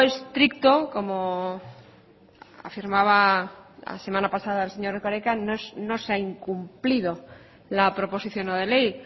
estricto como afirmaba la semana pasada el señor erkoreka no se ha incumplido la proposición no de ley